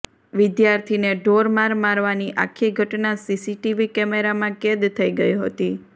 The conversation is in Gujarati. વિદ્યાર્થીને ઢોર માર મારવાની આખી ઘટના સીસીટીવી કેમેરામાં કેદ થઇ ગઇ હતી